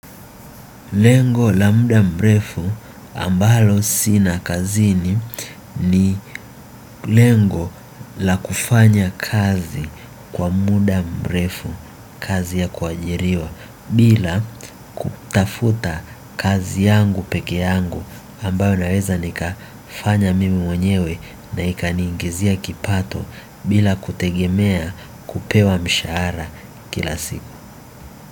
Lengo la muda mrefu ambalo sina kazini ni lengo la kufanya kazi kwa muda mrefu kazi ya kuajiriwa. Bila kutafuta kazi yangu peke yangu ambayo naweza nikafanya mimi mwenyewe na ikaniingizia kipato bila kutegemea kupewa mshahara kila siku.